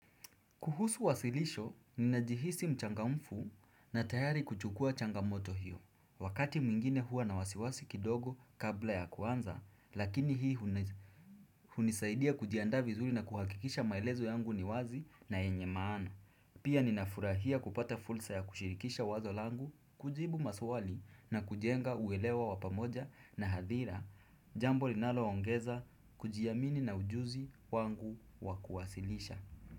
Kuhusu wasilisho, ninajihisi mchangamfu na tayari kuchukuwa changamoto hiyo. Wakati mwingine huwa na wasiwasi kidogo kabla ya kuanza, lakini hii huni hunisaidia kujiandaa vizuri na kuhakikisha maelezo yangu ni wazi na yenye maana. Pia ninafurahia kupata fursa ya kushirikisha wazo langu, kujibu maswali na kujenga uelewo wa pamoja na hadhira, jambo linaloongeza kujiamini na ujuzi wangu wa kuwasilisha.